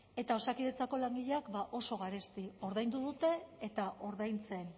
eta osakidetzako langileak ba oso garesti ordaindu dute eta ordaintzen